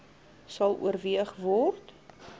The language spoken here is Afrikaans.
sal oorweeg word